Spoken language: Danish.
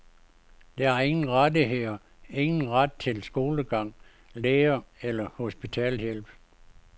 De har ingen rettigheder, ingen ret til skolegang, læge eller hospitalshjælp.